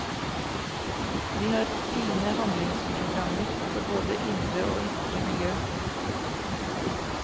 Vi har fine handlingsprogrammer for både indre og ytre miljø.